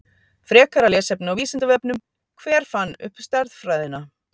Frekara lesefni á Vísindavefnum Hver fann upp stærðfræðina?